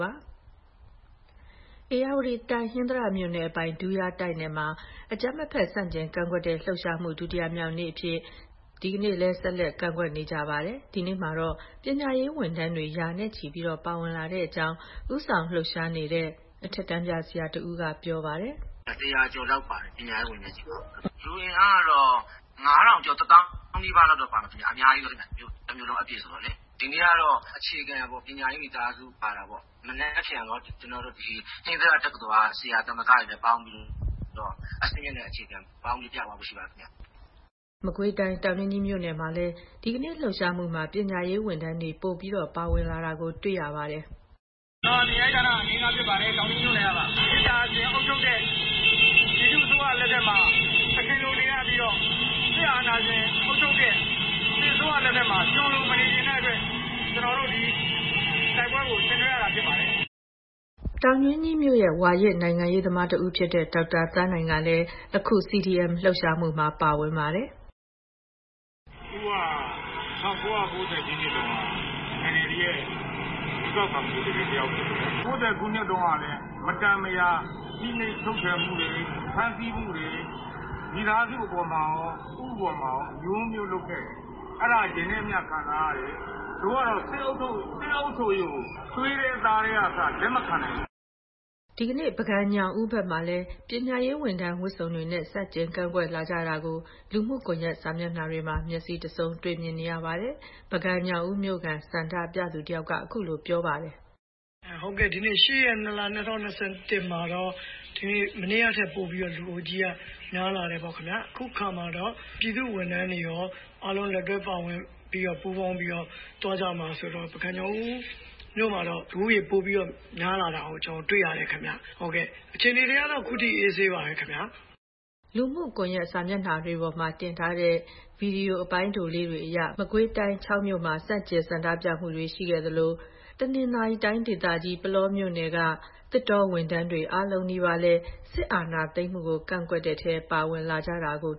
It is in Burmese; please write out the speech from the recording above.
ပါ။ ဧရာဝတီတိုင်း၊ ဟင်္သာတမြို့နယ်အပိုင် ဒူးယားတိုက်နယ်မှာ အကြမ်းမဖက်ဆန့်ကျင်ကန့်ကွက်တဲ့ လှုပ်ရှားမှုအဖြစ် ဒီကနေ့လည်း ဆက်လက်ကန့်ကွက်နေပါတယ်။ ဒီနေ့မှာတော့ ပညာရေးဝန်ထမ်းတွေလည်း ရာနဲ့ချီ ပါဝင်လာတဲ့အကြောင်း လှုပ်ရှားမှုဦးဆောင်နေတဲ့ အထက်တန်းပြဆရာတဦးက ပြောပါတယ်။ “၁၀၀ ကျော်လောက် ပါပါတယ်။ ပညာရေးဝန်ထမ်းချည့်ပါ။ လူအင်အားကတော့ ၅ ထောင်ကျော်၊ ၁ သောင်းနီးပါးပါမယ်ခင်ဗျ။ အများကြီးပဲ၊ တမြို့လုံးနီးပါးဆိုတော့လေ။ ဒီနေ့ကတော့ အခြေခံပညာရေး မိသားစု ပါတာပေါ့။ မနက်ဖြန်တော့ ဟင်္သာတတက္ကသိုလ်က ဆရာသမဂ္ဂလည်းပေါင်းပြီးတော့ အဆင့်မြင့်နဲ့ အခြေခံပေါင်းပြီး ပြသွားဖို့ ရှိပါတယ်ခင်ဗျ။” မကွေးတိုင်း၊ တောင်တွင်းကြီးမြို့ မှာလည်း ဒီကနေ့လှုပ်ရှားမှုမှာ ပညာရေးဝန်ထမ်းတွေ ပိုမိုပါဝင်လာနေတာတွေ့ရပါတယ်။ “မေတ္တာရှင်အုပ်ချုပ်တဲ့ ပြည်သူ့အစိုးရလက်ထက်မှာ သခင်လိုနေရပြီးတော့ စစ်အာဏာရှင်အုပ်ချုပ်တဲ့ စစ်အစိုးရလက်ထက်မှာ ကျွန်လိုမနေချင်တဲ့အတွက် ကျနော်တို့ ဒီတိုက်ပွဲကို ဆင်နွဲရခြင်းဖြစ်ပါတယ်။” တောင်တွင်းကြီးမြို့နယ် က ဝါရင့်နိုင်ငံရေးသမားတဦးဖြစ်တဲ့ ဒေါက်တာသန်းနိုင်လည်း အခု CDM လှုပ်ရှားမှုမှာ ပါဝင်လာပါတယ်။ “ဦးက ၁၉၉၀ ခုနှစ်က NLD ရဲ့ ရွေးကောက်ခံ ကိုယ်စားလှယ်ဖြစ်ခဲ့ပါတယ်။ ၉၀ ခုနှစ်တုန်းကလည်း မတန်မရာ ဖိနှိပ်ချုပ်ချယ်မှုတွေ၊ ဖမ်းဆီးမှုတွေ မိသားစုအပေါ်မှာရော၊ ဦးအပေါ်မှာရော အမျိုးမျိုးလုပ်ခဲ့တယ်။ တို့ကတော့ စစ်အုပ်ချုပ်ရေးကို သွေးထဲ သားထဲကအစ လက်မခံနိုင်ဘူး။” ဒီကနေ့ ပုဂံညောင်ဦးဘက်မှာလည်း ပညာရေးဝန်ထမ်းဝတ်စုံတွေနဲ့ ဆန့်ကျင်ကန့်ကွက်လာကြတာကို လူမှုကွန်ယက်စာမျက်နှာတွေမှာ မျက်စိတဆုံးတွေ့မြင်နေပါတယ်။ ပုဂံညောင်ဦးမြို့ခံ ဆန္ဒပြသူ တယောက်က အခုလို ပြောပြပါတယ်။ “ဟုတ်ကဲ့။ ဒီနေ့ ၈ ရက်၊ ၂ လ၊ ၂၀၂၁ မှာတော့ မနေ့ကထက်ပိုပြီးတော့ လူအုပ်ကြီးက များလာတယ်ပေါ့ခင်ဗျာ။ အခုအခါမှာတော့ ပြည်သူ့ဝန်ထမ်းတွေရော အားလုံးလက်တွဲ ပြီးပူးပေါင်းပါဝင်လာပြီး သွားကြမှာဆိုတော့ လူဦးရေကတော့ ပုဂံညောင်ဦးမြို့မှာ ပိုပြီးများလာတာတွေ့ရတယ်ခင်ဗျ။ အခြေအနေကတော့အခုထိ အေးအေးဆေးဆေးပါပဲခင်ဗျာ။” ဒါ့အပြင် လူမှုကွန်ယက်စာမျက်နှာတွေပေါ်မှာ တင်ထားတဲ့ ဗွီဒီယိုလေးတွေအရ မကွေးတိုင်း၊ ချောက်မြို့မှာလည်း ဆန့်ကျင်ဆန္ဒပြမှုတွေ ရှိခဲ့ပါတယ်။ ဒါ့အပြင် တနင်္သာရီတိုင်းဒေသကြီး ပုလောမြို့နယ်က သစ်တောဌာနဝန်ထမ်းတွေ အားလုံးနီးပါး စစ်အာဏာသိမ်းမှုကို ကန့်ကွက်တဲ့ထဲ ပါဝင်လာကြတာကို